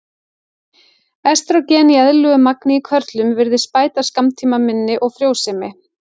Estrógen í eðlilegu magni í körlum virðist bæta skammtímaminni og frjósemi.